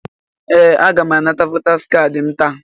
Ee! Aga m anara votaas kaadị m taa.